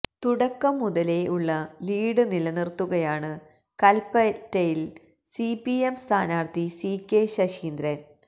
തുടക്കം മുതലേ ഉള്ള ലീഡ് നിലനിർത്തുകയാണ് കൽപ്പറ്റയിൽ സി പി എം സ്ഥാനാർത്ഥി സി കെ ശശീന്ദ്രൻ